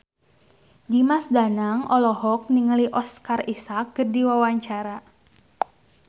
Dimas Danang olohok ningali Oscar Isaac keur diwawancara